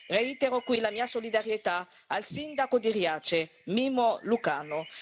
Reitero qui la mia solidarietà al sindaco di Riace, Mimmo Lucano.